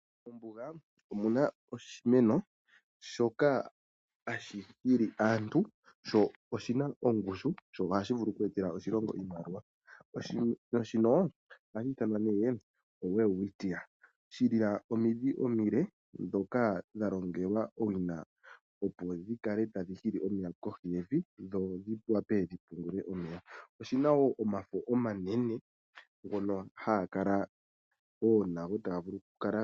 Mombuga omu na oshimeno shoka hashi hili aantu, sho oshivna ongushu sho ohashi vulu oku etela oshilongo iimaliwa. Oshimeno shino ohashi iithanwa nee oWelwitchia, shi na omiidhi omile ndhoka dha longelwa owi na opo dhikale tadhi hili omeya kohi yevi dho dhi wape dhi pungule omeya. Oshi na wo omafo omanene ngono haga kala una taga vulu okukala..